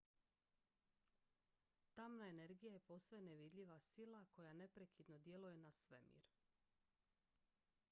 tamna energija je posve nevidljiva sila koja neprekidno djeluje na svemir